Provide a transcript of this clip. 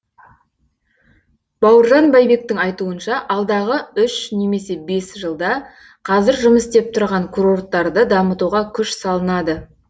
бауыржан байбектің айтуынша алдағы үш немесе бес жылда қазір жұмыс істеп тұрған курорттарды дамытуға күш салынады